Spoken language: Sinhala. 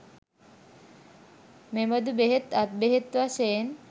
මෙබඳු බෙහෙත්, අත් බෙහෙත් වශයෙන්